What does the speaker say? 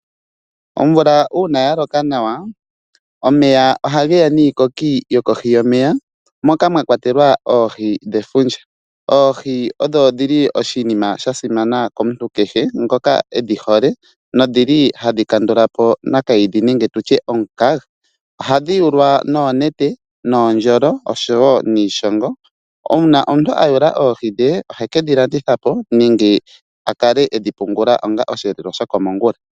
Omvula uuna yaloka nawa omeya oha geya niikoki yokohi yomeya moka mwakwatelwa oohi dhefundja. Oohi odho dhili oshinima shasimana komuntu kehe ngoka edhihole no dhili hadhi kandulapo omukaga, ohadhi yulwa noonete, nuundjolo nosho nuushogo uuna omuntu ayula oohi dhe oheke dhilandithapo nenge akale edhi pungula onga osheelelwa shokomongula.